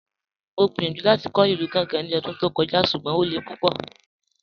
Mọ̀ gbíyànjú láti kọ̀ ilù Gàngá ní ọ̀dún tó kọ̀jà̀, ṣùgbọ́n o lẹ̀ púpọ̀.